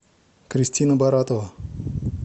кристина баратова